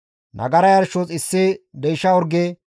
Nagara yarshos issi deysha orge,